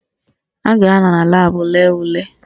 Ha ga-anọ na laabụ lee ule